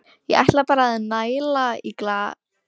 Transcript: Ég ætla bara að næla í glas handa okkur.